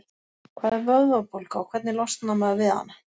Hvað er vöðvabólga og hvernig losnar maður við hana?